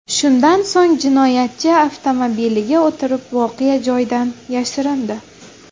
Shundan so‘ng jinoyatchi avtomobiliga o‘tirib, voqea joyidan yashirindi.